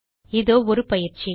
இதோ ஒரு பயிற்சி